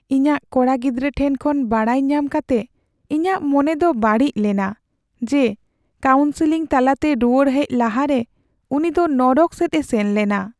ᱤᱧᱟᱹᱜ ᱠᱚᱲᱟ ᱜᱤᱫᱽᱨᱟᱹ ᱴᱷᱮᱱ ᱠᱷᱚᱱ ᱵᱟᱰᱟᱭ ᱧᱟᱢ ᱠᱟᱛᱮ ᱤᱧᱟᱹᱜ ᱢᱚᱱᱮ ᱫᱚ ᱵᱟᱹᱲᱤᱡ ᱞᱮᱱᱟ ᱡᱮ ᱠᱟᱣᱩᱱᱥᱮᱞᱤᱝ ᱛᱟᱞᱟᱛᱮ ᱨᱩᱣᱟᱹᱲ ᱦᱮᱡ ᱞᱟᱦᱟᱨᱮ ᱩᱱᱤ ᱫᱚ ᱱᱚᱨᱚᱠ ᱥᱮᱫ ᱮ ᱥᱮᱱ ᱞᱮᱱᱟ ᱾